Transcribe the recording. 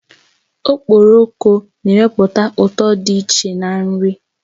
Okporoko na ewepụta ụtọ dị iche na nri